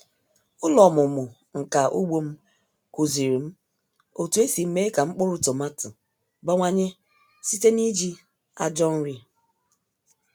Ụlọ ọmụmụ nka ugbo m kụziri m otu esi mee ka mkpụrụ tomati bawanye site n’iji ajọ nri.